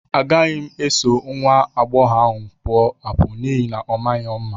Agaghị m eso nwa agbọghọ ahụ pụọ apụ n'ihi na ọ maghị mma.